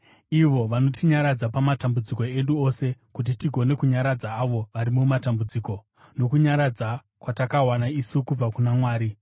ivo vanotinyaradza pamatambudziko edu ose, kuti tigone kunyaradza avo vari mumatambudziko nokunyaradza kwatakawana isu kubva kuna Mwari.